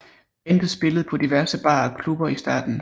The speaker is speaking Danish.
Bandet spillede på diverse barer og klubber i starten